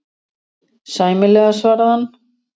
Sæmilega, svaraði hann.